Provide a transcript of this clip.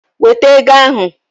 Weta Igbo ahụ!